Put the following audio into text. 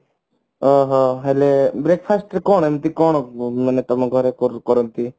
ଓ ହୋ ହେଲେ breakfast ରେ କଣ ଏମତି କଣ ମାନେ ତମ ଘରେ କରନ୍ତି